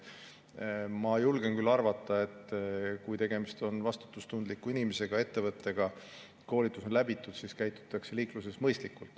Ma julgen küll arvata, et kui tegemist on vastutustundliku inimese või ettevõttega ja kui koolitus on läbitud, siis käitutakse liikluses mõistlikult.